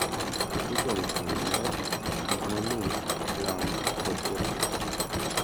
Kokalo kuom ler, gik mamit, lamo, kod chokruok,